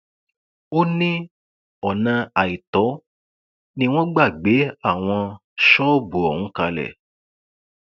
ó ní ọnà àìtọ ni wọn gbà gbé àwọn ṣọọbù ọhún kalẹ